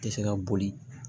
Tɛ se ka boli